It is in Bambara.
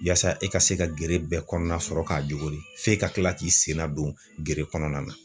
Yaasa e ka se ka gere bɛɛ kɔnɔna sɔrɔ k'a jogori f'e ka kila k'i sen nadon gere kɔnɔna na.